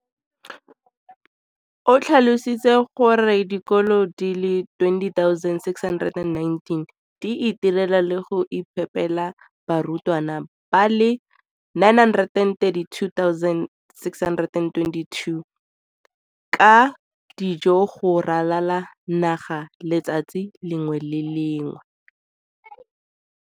O tlhalositse gore dikolo di le 20 619 di itirela le go iphepela barutwana ba le 9 032 622 ka dijo go ralala naga letsatsi le lengwe le le lengwe.